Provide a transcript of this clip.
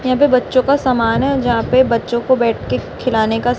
यहां पे बच्चों का समान है जहां पे बच्चों को बैठकर खिलाने का--